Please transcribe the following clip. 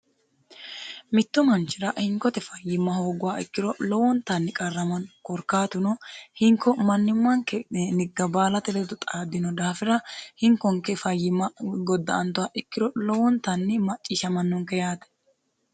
mittu manchira hinkote fayyimma hoogguha ikkiro lowontanni qarramano korkaatuno hinko mannimmanke nigga baalate ledo xaaddino daafira hinkonke fayyimma godda antowa ikkiro lowontanni macciishshamannonke yaate